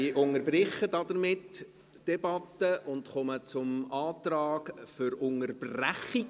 Damit unterbreche ich die Debatte und komme zum Antrag auf Unterbrechung.